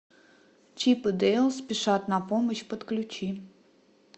чип и дейл спешат на помощь подключи